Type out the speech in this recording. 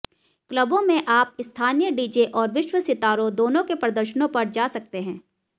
क्लबों में आप स्थानीय डीजे और विश्व सितारों दोनों के प्रदर्शनों पर जा सकते हैं